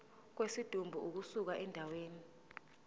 kwesidumbu ukusuka endaweni